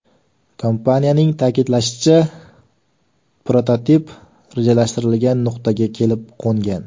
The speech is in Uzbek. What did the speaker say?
Kompaniyaning ta’kidlashicha, prototip rejalashtirilgan nuqtaga kelib qo‘ngan.